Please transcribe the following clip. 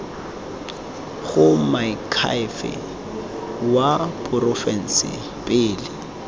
go moakhaefe wa porofense pele